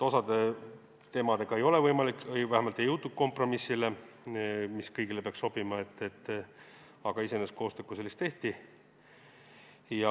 Osa teemade puhul ei ole see võimalik või vähemalt ei jõutud kompromissile, mis kõigile sobiks, aga iseenesest koostööd kui sellist tehti.